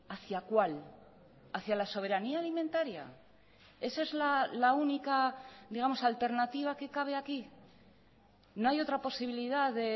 hacia cuál hacia la soberanía alimentaria esa es la única digamos alternativa que cabe aquí no hay otra posibilidad